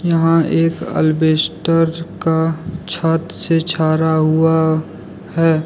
यहां एक अल्बेस्टर का छत से छारा हुआ है।